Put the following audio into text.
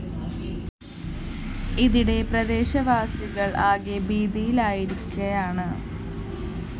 ഇതിടെ പ്രദേശവാസികള്‍ ആകെ ഭീതിയിലായിരിക്കയാണ്